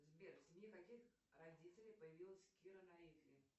сбер в семье каких родителей появилась кира найтли